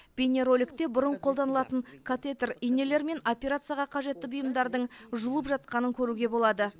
бейнероликте бұрын қолданылған катетер инелер мен операцияға қажетті бұйымдардың жуылып жатқанын көруге болады